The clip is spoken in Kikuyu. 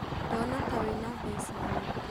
Ndona ta wĩna mbeca nyingĩ?